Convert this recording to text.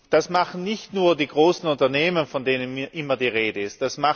Das machen nicht nur die großen Unternehmen, von denen immer die Rede ist.